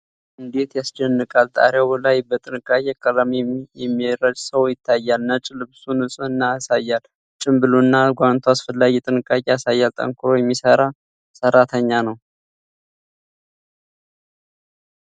እንዴት ያስደንቃል! በጣሪያው ላይ በጥንቃቄ ቀለም የሚረጭ ሰው ይታያል። ነጭ ልብሱ ንጽህናን ያሳያል። ጭምብሉና ጓንቱ አስፈላጊ ጥንቃቄ ያሳያል። ጠንክሮ የሚሠራ ሰራተኛ!